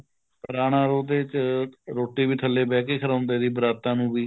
ਪੁਰਾਣਾ ਉਹਦੇ ਚ ਰੋਟੀ ਵੀ ਥੱਲੇ ਬਹਿ ਕੇ ਖਲਾਊਂਦੇ ਸੀ ਬਰਾਤਾਂ ਨੂੰ ਵੀ